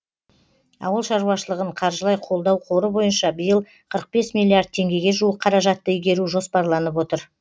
ауыл шаруашылығын қаржылай қолдау қоры бойынша биыл қырық бес миллиард теңгеге жуық қаражатты игеру жоспарланып отыр